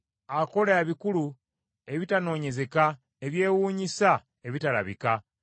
Akola ebikulu, ebitanoonyezeka, ebyewuunyisa ebitabalika.